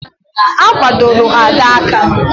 A gbadoro Ada aka